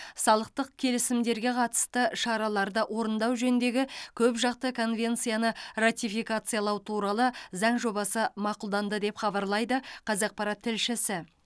салықтық келісімдерге қатысты шараларды орындау жөніндегі көпжақты конвенцияны ратификациялау туралы заң жобасы мақұлданды деп хабарлайды қазақпарат тілшісі